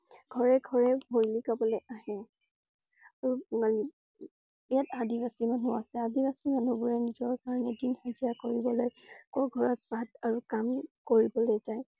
ঘৰে ঘৰে হলি গাবলে আহে। আৰু~ইয়াত আদিবাসী মানুহ আছে। আদিবাসী মানুহ বোৰে নিজৰ কাৰণে দিন হাজিৰা কৰিবলৈ লোকৰ ঘৰত কাম কৰিবলৈ যায়।